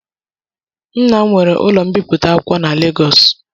Nnam nwere ụlọ mbipụta akwụkwọ na Legọs